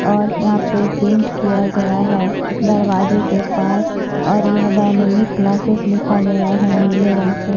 और यहाँ पर पेंट किया गया है दरवाजे के पास और यहाँ पर डायनेमिक क्लासेस लिखा गया है नीले रंग से --